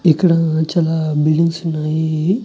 ఇక్కడ చాలా బిల్డింగ్స్ ఉన్నాయి.